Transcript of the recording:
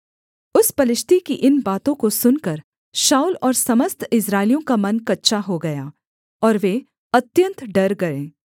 उस पलिश्ती की इन बातों को सुनकर शाऊल और समस्त इस्राएलियों का मन कच्चा हो गया और वे अत्यन्त डर गए